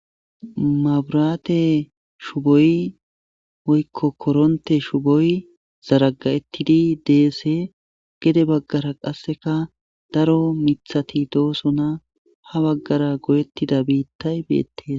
maburaate shuboy woykko koronte shuboy zaraga'ettidi deese gede baggara qasseka daro mithati doosona ha baggara goyettida biittay beettes